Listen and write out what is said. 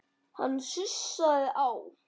Hann sussaði á